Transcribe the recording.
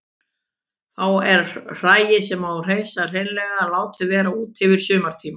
Þá er hræið sem á að hreinsa hreinlega látið vera úti yfir sumartímann.